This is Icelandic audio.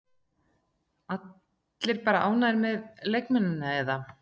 Allir bara ánægðir með leikmennina eða?